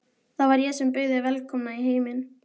Það var ég sem bauð þig velkomna í heiminn.